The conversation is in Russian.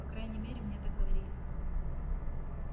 по крайней мере мне так говорили